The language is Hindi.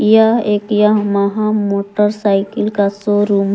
यह एक यामाहा मोटरसाइकिल का शोरूम है।